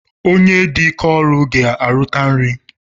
Onye dị ike ọrụ ga-erute nri